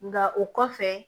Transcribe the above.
Nka o kɔfɛ